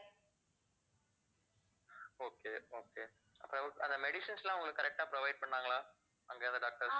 okay okay அந்த medicines எல்லாம் உங்களுக்கு correct ஆ provide பண்ணாங்களா அங்க இருந்த doctors